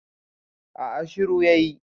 a a shiru ya yi